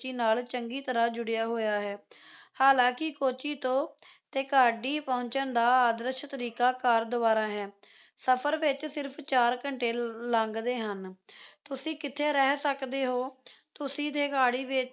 ਨਾਲ ਚੰਗੀ ਤਰ੍ਹਾਂ ਜੁੜਿਆ ਹੋਇਆ ਹੈ ਹਾਲਾਂਕਿ ਕੋੱਚੀ ਤੋਂ ਥੇਕਾਡੀ ਪਹੁੰਚਣ ਦਾ ਆਦਰਸ਼ ਤਰੀਕਾ car ਦੁਆਰਾ ਹੈ ਸਫ਼ਰ ਵਿੱਚ ਸਿਰਫ ਚਾਰ ਘੰਟੇ ਲੰਘਦੇ ਹਨ ਤੁਸੀਂ ਕਿੱਥੇ ਰਹੀ ਸਕਦੇ ਤੁਸੀਂ ਥੇਕਾਡੀ ਵਿੱਚ